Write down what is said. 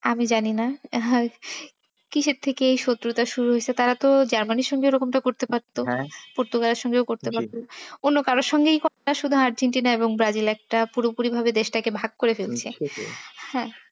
আমি জানি না কিসের থেকে এই শত্রুতা শুরু হয়েছে। তারা তো জার্মানির সঙ্গে এরকমটা করতে পারত বা পর্তুগালের সাথেও করতে পারতো, অন্য কারোর সঙ্গেই করেনা শুধু আর্জেন্টিনা এবং ব্রাজিল একটা পুরোপুরি ভাবে দেশটাকে ভাগ করে ফেলছে। আহ